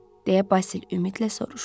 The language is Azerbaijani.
Deyə Basil ümidlə soruşdu.